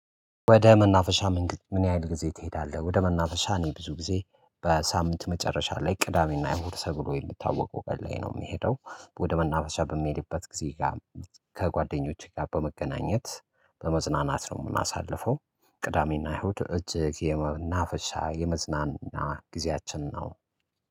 ወደ መናፈሻ መንገድ ምን ያህል ጊዜ ትሄዳለህ? ወደ መናፈሻ እኔ ብዙ ጊዜ በሳምንት መጨረሻ ላይ ቅዳሜና እሁድ ሰብሎ የሚታወቀው ቀን ላይ ነው ምሄደው ወደ መናፈሻ በሚሄድበት ጊዜ ጋ ከጓደኞቼ ጋ በመገናኘት በመዝናናት ነው ምናሳልፈው። ቅዳሜና አሁድ እጅግ የመናፈሻ የመዝናና ጊዜያችን ነው።